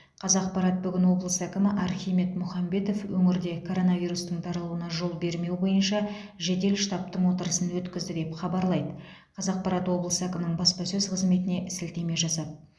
қазақпарат бүгін облыс әкімі архимед мұхамбетов өңірде коронавирустың таралуына жол бермеу бойынша жедел штабтың отырысын өткізді деп хабарлайды қазақпарат облыс әкімінің баспасөз қызметіне сілтеме жасап